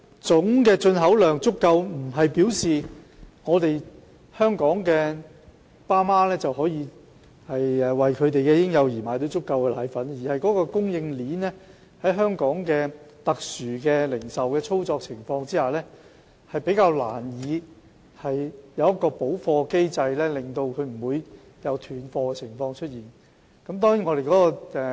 總進口量足夠不代表香港的父母能為嬰幼兒買到足夠的配方粉，而供應鏈在香港特殊的零售操作模式下，較難有完善的補貨機制，以杜絕斷貨情況。